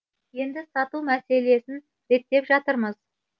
енді сату мәселесін реттеп жатырмыз